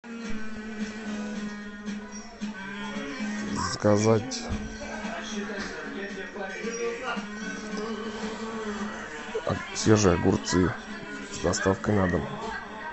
заказать свежие огурцы с доставкой на дом